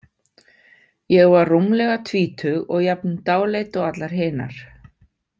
Ég var rúmlega tvítug og jafn dáleidd og allar hinar.